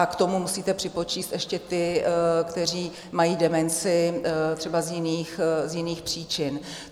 A k tomu musíte připočíst ještě ty, kteří mají demenci třeba z jiných příčin.